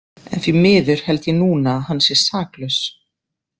En því miður held ég núna að hann sé saklaus.